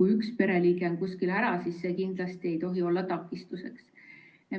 kui üks pereliige on kuskil ära, kindlasti ei tohi olla takistuseks.